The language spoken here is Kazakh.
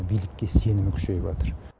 билікке сенімі күшейіватыр